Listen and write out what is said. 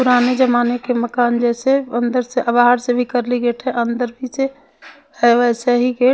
पुराने ज़माने के मकान जैसे अंदरसे बाहरसे भी कर्ली गेट है अंदर भी है वैसा ही गेट --